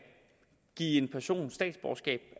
give en person statsborgerskab